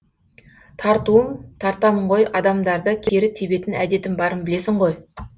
тартуым тартамын ғой адамдарды кері тебетін әдетім барын білесің ғой